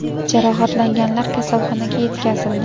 Jarohatlanganlar kasalxonaga yetkazildi.